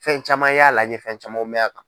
Fɛn caman y'a la n ye fɛn camanw mɛn a kan.